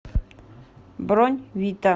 бронь вита